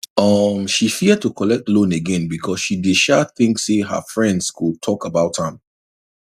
um she fear to collect loan again because she dey um think say her friends go talk about am